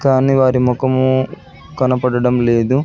కానీ వారి ముఖమూ కనపడడం లేదు.